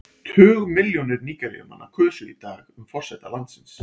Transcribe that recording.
Tugmilljónir Nígeríumanna kusu í dag um forseta landsins.